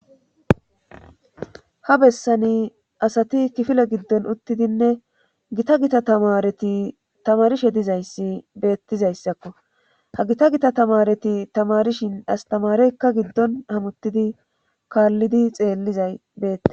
Ha besaan asati kifile giddon uttidinne gita gitan taamareti tamaarishe dizayssi beettixzassakko ha gita gitatamaareti tamaarishi asttamaareykka giddon hamuttidi kaallidi xeellizay beette